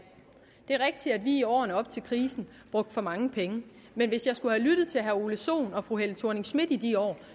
vi i årene op til krisen brugte for mange penge men hvis jeg skulle have lyttet til herre ole sohn og fru helle thorning schmidt i de år